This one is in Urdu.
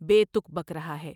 بے تک بک رہا ہے ۔